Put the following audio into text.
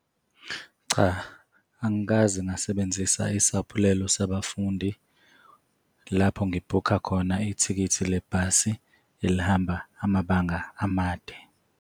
Cha, angikaze ngasebenzisa isaphulelo sabafundi lapho ngibhukha khona ithikithi lebhasi elihamba amabanga amade.